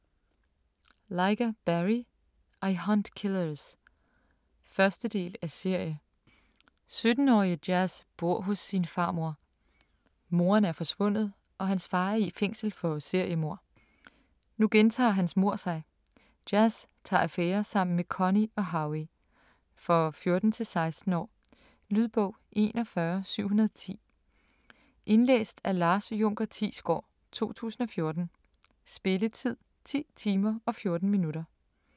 Lyga, Barry: I hunt killers 1. del af serie. 17-årige Jazz bor hos sin farmor. Moren er forsvundet og hans far er i fængsel for seriemord. Nu gentager hans mord sig. Jazz tager affære sammen med Connie og Howie. For 14-16 år. Lydbog 41710 Indlæst af Lars Junker Thiesgaard, 2014. Spilletid: 10 timer, 14 minutter.